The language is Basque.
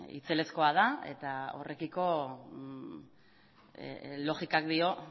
itzelezkoa da eta horrekiko logikak dio